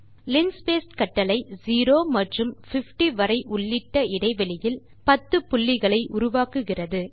linspace கட்டளை 0 மற்றும் 50 வரை உள்ளிட்ட இடைவெளியில் 10 புள்ளிகளை உருவாக்குகிறது